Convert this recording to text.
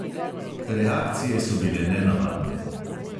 Reakcije so bile nenavadne.